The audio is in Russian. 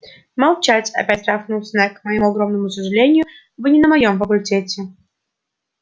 молчать опять рявкнул снегг к моему огромному сожалению вы не на моём факультете